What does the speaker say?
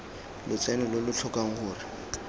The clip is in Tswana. lotseno lo lo tlhokang gore